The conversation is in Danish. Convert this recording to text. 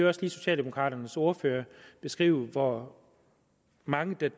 også lige socialdemokraternes ordfører beskrive hvor mange der